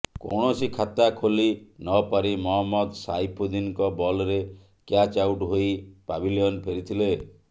କୌଣସି ଖାତା ଖୋଲି ନପାରି ମହମ୍ମଦ ସାଇଫୁଦ୍ଦିନଙ୍କ ବଲ୍ରେ କ୍ୟାଚ୍ ଆଉଟ୍ ହୋଇ ପାଭିଲିୟନ୍ ଫେରିଥିଲେ